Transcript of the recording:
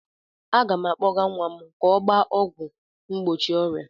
Aga m akpọga nwa m ka ọ gbaa ọgwụ mgbochi ọrịa.